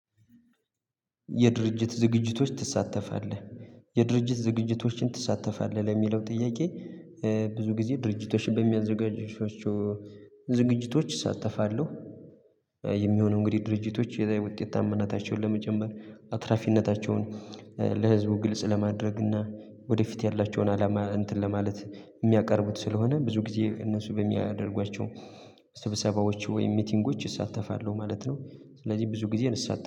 የድርጅት ዝግጅቶች ትሳተፋለህ? የድርጅት ዝግጅቶችን ትሳተፋለህ? ለሚለው ጥያቄ ብዙ ጊዜ ድርጅቶችን በሚያዘጋጅባቸው ዝግጅቶች እሳተፋለሁ። የሚሆነው እንግዲህ ድርጅቶች የላይ ውጤታማናታቸውን ለመጨመር አትራፊነታቸውን ለህዝቡ ግልጽ ለማድረግ እና ወደፊት ያላቸውን አላማ እንትን ለማለት የሚያቀርቡት ስለሆነ ብዙ ጊዜ እነሱ በሚያደርጓቸው ስብሰባዎቹ ወይም ሚቲንጎች እሳተፋለሁ ማለት ነው። ስለዚህ ብዙ ጊዜ እንሳተፋለን